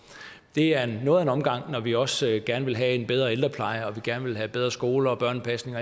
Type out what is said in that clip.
det er noget af en omgang når vi også gerne vil have en bedre ældrepleje og vi gerne vil have bedre skoler børnepasning